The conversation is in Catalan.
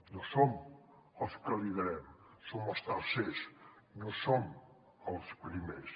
no som els que liderem som els tercers no som els primers